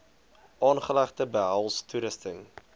aanlegte behels toerusting